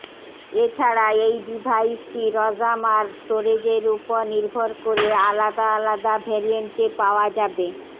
এছাড়া এই ডিভাইসটি র্যাম আর স্টোরেজের ওপর নির্ভর করে আলাদা আলাদা ভেরিয়েন্টে পাওয়া যাবে